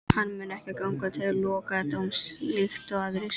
Hann mun ekki ganga til lokadómsins líkt og aðrir.